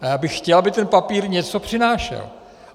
A já bych chtěl, aby ten papír něco přinášel.